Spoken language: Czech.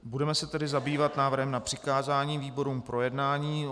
Budeme se tedy zabývat návrhem na přikázání výborům k projednání.